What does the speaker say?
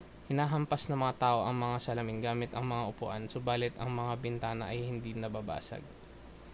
hinahampas ng mga tao ang mga salamin gamit ang mga upuan subalit ang mga bintana ay hindi nababasag